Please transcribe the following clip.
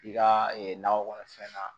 I ka nakɔ kɔnɔfɛn na